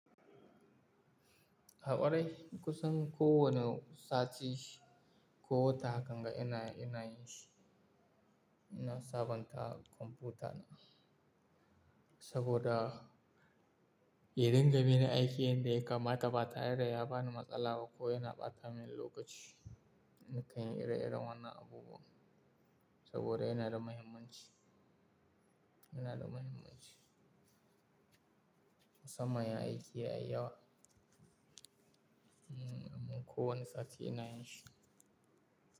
Haɓarai, kusan kowane sati ko wata hakan ga ina, ina yi shi. Ina sabonta kwamfuta na saboda ya dinga mini aiki yanda ya kama ta ɓatare da ya bani matsala ba ko yana ɓata min lokaci. Na kan yi ire-iren wannan abubuwa saboda yana da muhimmanci, yana da muhimmanci. Samman in aiki yayi yawa, mm-kowane sati ina yin shi.